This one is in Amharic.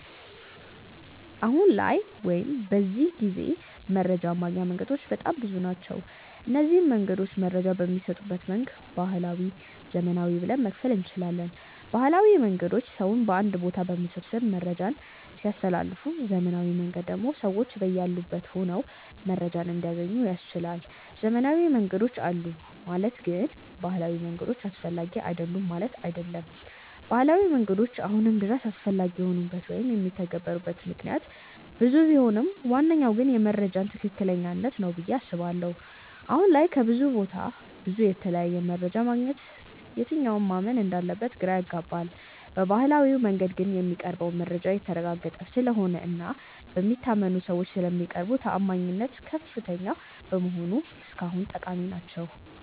አሁን ላይ ወይም በዚህ ጊዜ መረጃን ማግኛ መንገዶች በጣም ብዙ ናቸው። እነዚንም መንገዶች መረጃ በሚሰጡበት መንገድ ባህላዊ እና ዘመናዊ ብለን መክፈል እንችላለን። ባህላዊ መንገዶች ሰውን አንድ ቦታ በመሰብሰብ መረጃን ሲያስተላልፉ ዘመናዊው መንገድ ደግሞ ሰዎች በያሉበት ሆነው መረጃን እንዲያገኙ ያስችላል። ዘመናዊ መንገዶች አሉ ማለት ግን ባህላዊ መንገዶች አስፈላጊ አይደሉም ማለት አይደለም። ባህላዊ መንገዶች አሁንም ድረስ አስፈላጊ የሆኑበት ወይም የሚተገበሩበት ምክንያት ብዙ ቢሆንም ዋነኛው ግን የመረጃዎች ትክክለኛነት ነው ብዬ አስባለሁ። አሁን ላይ ከብዙ ቦታ ብዙ እና የተለያየ መረጃ ማግኘታችን የትኛውን ማመን እንዳለብን ግራ ያጋባል። በባህላዊው መንገዶች ግን የሚቀርበው መረጃ የተረጋገጠ ስለሆነ እና በሚታመኑ ሰዎች ስለሚቀርቡ ተአማኒነታቸው ከፍተኛ በመሆኑ እስካሁን ጠቃሚ ናቸው።